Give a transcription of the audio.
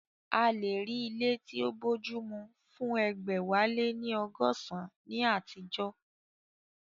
A lè rí ilé tí ó bójúmu fún egbẹ̀wáléníọgọsan ní àtijọ́